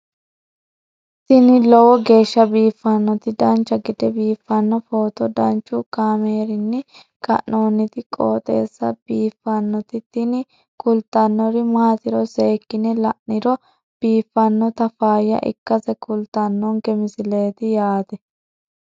tini lowo geeshsha biiffannoti dancha gede biiffanno footo danchu kaameerinni haa'noonniti qooxeessa biiffannoti tini kultannori maatiro seekkine la'niro biiffannota faayya ikkase kultannoke misileeti yaate